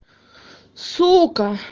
сука